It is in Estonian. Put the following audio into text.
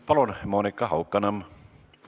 Palun, Monika Haukanõmm!